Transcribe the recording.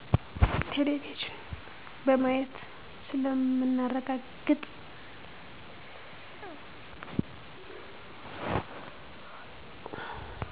ቴሌቪዝን በማየት ስለምናረጋግጥ